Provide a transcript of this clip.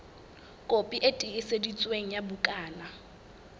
kopi e tiiseditsweng ya bukana